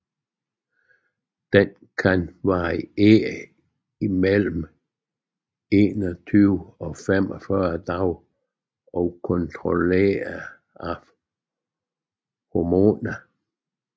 Den kan variere mellem 21 og 45 dage og er kontrolleret af hormoner